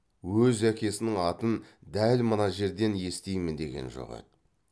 өз әкесінің атын дәл мына жерден естимін деген жоқ еді